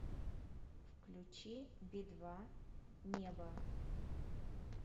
включи би два небо